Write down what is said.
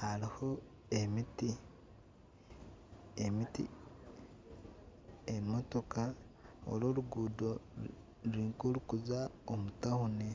hariho emiti, emotoka. Oru oruguuto ruri nka orurikuza omu tawuni.